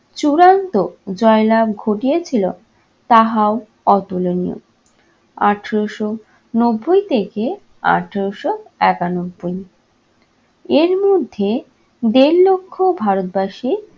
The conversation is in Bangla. চূড়ান্ত জয়লাভ ঘটিয়াছিল তাহাও অতুলনীয়। আঠেরোশো নব্বই থেকে আঠেরোশো একানব্বই। এর মধ্যে দেড় লক্ষ ভারতবাসী